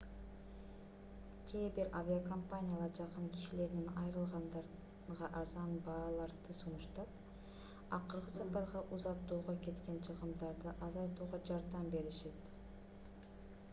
кээ бир авиакомпаниялар жакын кишилеринен айрылгандарга арзан бааларды сунуштап акыркы сапарга узатууга кеткен чыгымдарды азайтууга жардам беришет